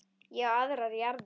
Ég á aðrar jarðir.